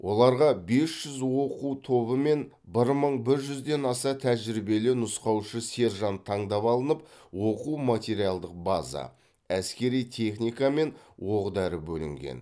оларға бес жүз оқу тобы мен бір мың бір жүзден аса тәжірибелі нұсқаушы сержант таңдап алынып оқу материалдық база әскери техника мен оқ дәрі бөлінген